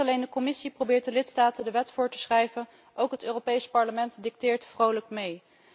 Niet alleen de Commissie probeert de lidstaten de wet voor te schrijven, ook het Europees Parlement dicteert vrolijk mee.